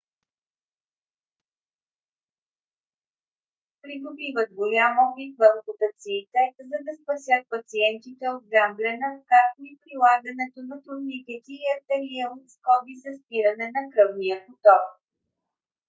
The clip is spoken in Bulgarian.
придобиват голям опит в ампутациите за да спасят пациентите от гангрена както и прилагането на турникети и артериални скоби за спиране на кръвния поток